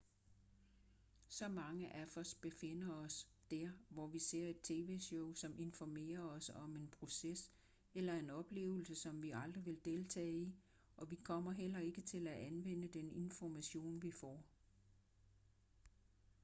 så mange af os befinder os der hvor vi ser et tv-show som informerer os om en proces eller en oplevelse som vi aldrig vil deltage i og vi kommer heller ikke til at anvende den information vi får